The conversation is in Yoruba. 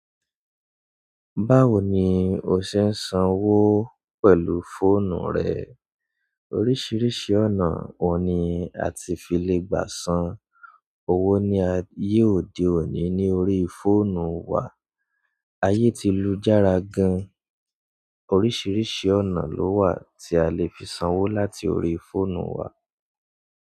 Báwo ni o ṣe ń sanwó pẹ̀lú fóònù rẹ? Oríṣiríṣi ọ̀nà wo ni a ti fi lè gbà san owó ní ayé òde òní ní orí fóònù wa. Ayé ti lu jára gan, oríṣiríṣi ọ̀nà ló wà tí a lè fi sanwó láti orí fóònù wa.